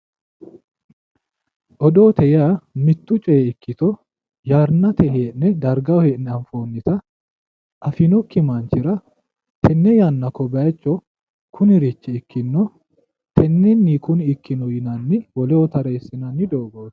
Odoote yaa mittu coyi ikkito yannate hee'ne dargaho hee'ne anfoonnita afinokki manchira tenne yanna ko bayicho kunirichi ikkino tennenni kuni ikkino yinanni woleho tateessinanni doogooti